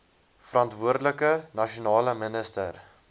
verantwoordelike nasionale minister